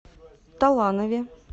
таланове